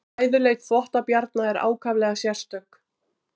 fæðuleit þvottabjarna er ákaflega sérstök